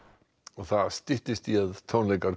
það styttist í að tónleikar